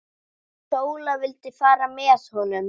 Sóla vildi fara með honum.